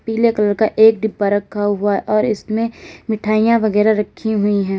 पीले कलर का एक डिब्बा रखा हुआ है और इसमें मिठाइयां वगैरा रखी हुई हैं।